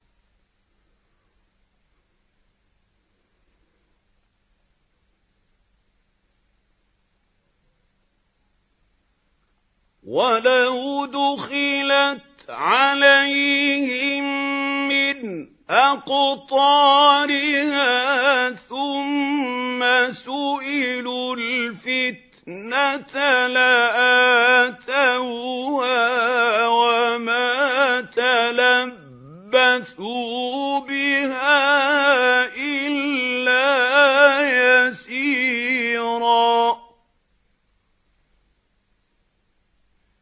وَلَوْ دُخِلَتْ عَلَيْهِم مِّنْ أَقْطَارِهَا ثُمَّ سُئِلُوا الْفِتْنَةَ لَآتَوْهَا وَمَا تَلَبَّثُوا بِهَا إِلَّا يَسِيرًا